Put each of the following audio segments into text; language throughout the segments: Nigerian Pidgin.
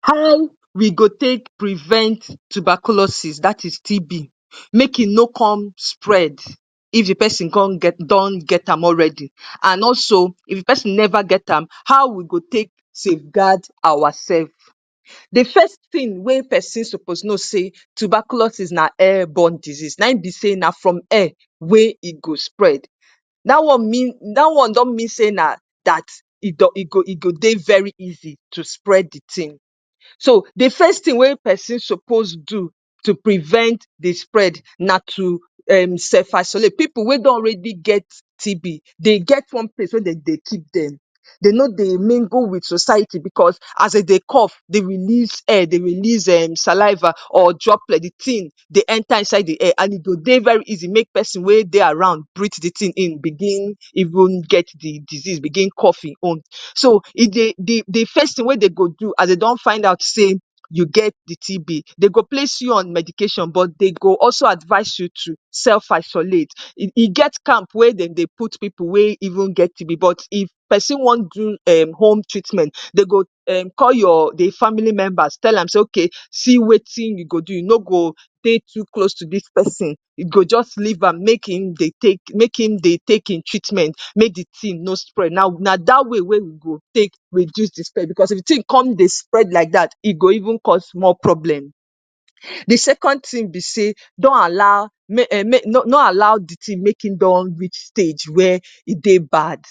How we go take prevent tuberculosis dat is TB make e no con spread If the pesin con get don get done am already. And also, if the pesin never get am, how we go take safeguard ourselves? The first thing wey pesin suppose know sey tuberculosis na airborne disease. Na im be sey na from air wey e go spread. Dat one mean, dat one don mean mean sey na dat e go e go dey very easy to spread the thing. So, the first thing wey pesin suppose do to prevent the spread na to um self-isolate. Pipu wey don already get TB dey get one place wey de dey keep dem. They no dey mingle with society because as de dey cough dey release air, dey release um saliva or droplet, the thing dey enter inside the air and e go dey very easy make pesin wey dey around breath the thing in begin even get the disease, begin cough e own. So, e dey the the first thing wey they go do as they don find out sey pou get the TB, they go place you on medication but they go also advise you to self-isolate. E e get camp wey de dey put pipu wey even get TB but if pesin wan do um[ home treatment, de go um call your the family members tell am say okay see wetin you go do. You no go take you close to dis person. You go just leave am make e dey take, make im dey take e treatment, make the thing no spread. Na na dat way wey we go take reduce the spread because if the thing come dey spread like dat, e go even cause more problem. The second thing be sey, don't allow no allow the thing make e don reach stage where e dey bad.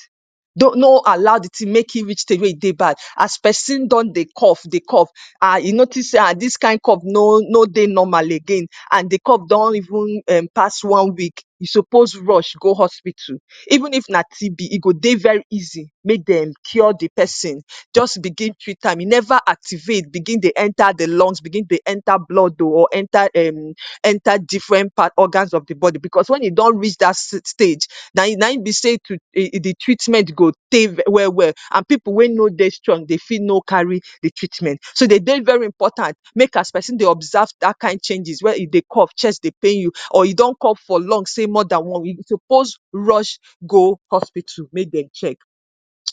No no allow the thing make e reach stage wey e dey bad. As pesin don dey cough dey cough and you notice sey ha dis kind of cough no no dey normal again and the cough don even um past one week, you suppose rush go hospital. Even if not TB, e go dey very easy make dem cure the person. Just begin treat am. E never activate, begin dey enter the lungs, begin dey enter blood oh or enter um, enter different parts, organs of the body. Because when e don reach dat stage, na na im be sey the treatment go tey well well. And pipu wey no dey strong, they fit no carry the treatment. So, de dey very important make as person dey observe dat kind changes, where e dey cough, chest dey pain you or you don cough for long, sey more than one week, you suppose rush, go hospital make dem check.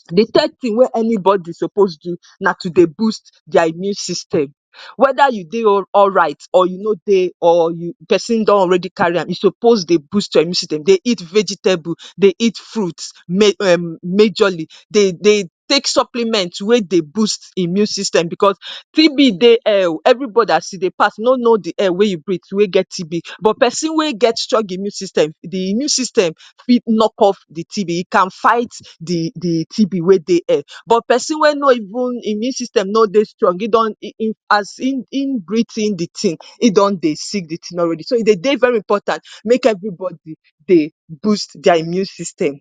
The third thing wey anybody suppose do na to dey boost their immune system. Whether you dey alright or you no dey or you person don already carry, you suppose dey boost your immune system, dey eat vegetable, dey eat fruits, um majorly, dey dey take supplement wey dey boost immune system because TB dey um everybody as e dey pass, no know the air wey you breathe, wey get TB. But person wey get strong immune system, the immune system fit knock off the TB. it can fight the the TB wey dey air but person wey no immune system no dey strong, e don e pass e e breath-in the thing, e don dey sick the thing already. So, e dey dey very important, make everybody dey boost their immune system.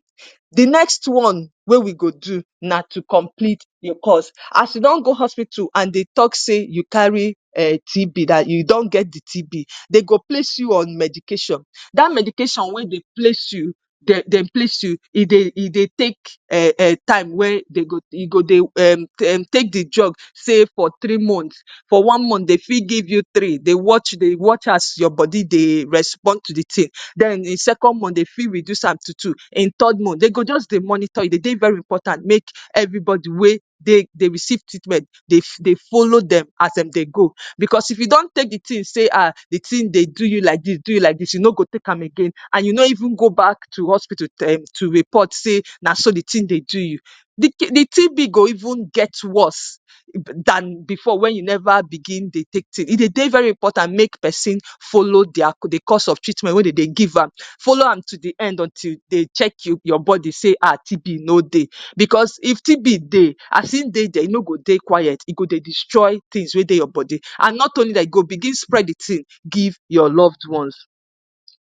The next one wey we go do na to complete your course. As you don go hospital and they talk sey you carry um TB, dat you don get the TB, de go place you on medication. Dat medication wey dey place you dem dem place you, e dey e dey take um time where de go e go dey um um take the drug, sey for three months. For one month, they free give you three, they watch, they watch as your body dey respond to the thing. Den in second month, they fit reduce am to two. In third month, they go just dey monitor you. E dey dey very important, make everybody wey dey, they receive treatment, dey dey follow dem as de dey go because if you don take the thing sey, ah, the thing dey do you like dis, do you like dis, you no go take am again and you no even go back to hospital to report say, na so the thing dey do you, the TB go even get worse dan before when you never begin dey take. E dey dey very important, make pesin follow their, the course of treatment wey de dey give am. Follow am to the end until they check you, your body say, ah, TB no day. Because if TB dey, as e dey dere, e no go dey quiet. E go dey destroy things wey dey your body and not only dat, e go begin spread the thing give your loved ones.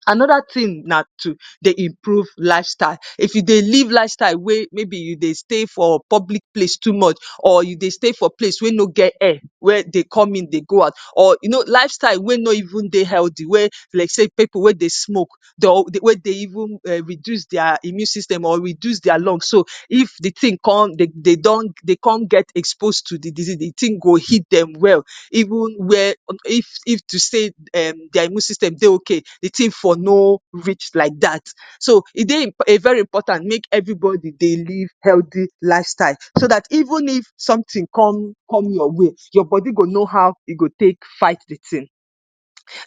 another thing na to dey improve lifestyle. if you dey live lifestyle wey maybe you dey stay for public place too much or you dey stay for place wey no get air, where they come in they go out, or you know lifestyle wey no even dey healthy, where, like sey, pipu wey dey smoke. De oh wey dey even um reduce their immune system or reduce their lungs. So, if the thing con dey dey don dey can get exposed to the disease, the thing go hit dem well, even where, if if to say um their immune system dey okay, the thing for no reach like dat. So, e dey very important make everybody dey live healthy lifestyle so dat even if something come, come your way, your body go know how e go take fight the thing.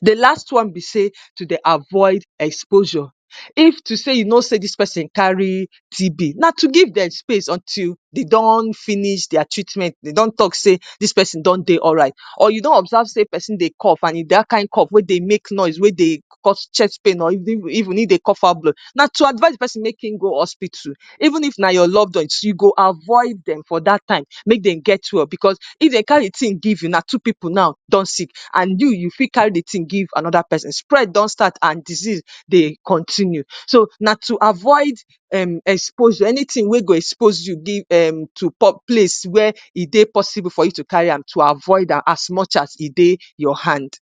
The last one be sey, to dey avoid exposure. If to sey, you know sey dis person carry TB, na to give dem space, until they don finish their treatment, they don talk sey, dis person don dey alright or you don observe sey person dey cough, and if dat kind cough wey dey make noise, wey dey cause chest pain, or even if they cough out blood. Na to advise the pesin make im go hospital. Even if na your loved ones, you go avoid dem for dat time, make Dem get well, because if dey carry the thing, give you, na two people now don sick and you you fit carry the thing give another pesin. Spread don start and disease dey continue. So, na to avoid um exposure, anything we go expose you give um to place where e dey possible for you to carry am. To avoid am as much as e dey your hand.